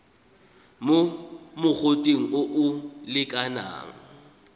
mo mogoteng o o lekanang